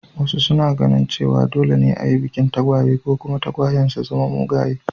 Wasu suna ganin cewa dole ne a yi bikin tagwaye, ko kuma tagwayen sun zama mugaye.